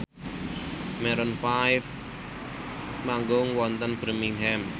Maroon 5 manggung wonten Birmingham